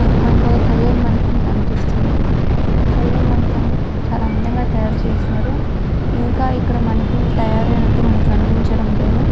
ఆహ్ మనకో కల్యాణ మండపం కనిపిస్తుంది. ఈ మండపాన్ని చాల అందంగా తాయారు చేసారు. ఇంకా ఇక్కడ మనకి తాయారు అయినట్టు కనిపించట్లేదు.